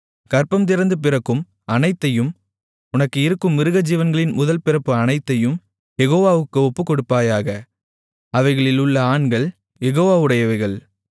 கர்ப்பந்திறந்து பிறக்கும் அனைத்தையும் உனக்கு இருக்கும் மிருகஜீவன்களின் முதல்பிறப்பு அனைத்தையும் யெகோவாவுக்கு ஒப்புக்கொடுப்பாயாக அவைகளிலுள்ள ஆண்கள் யெகோவாவுடையவைகள்